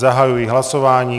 Zahajuji hlasování.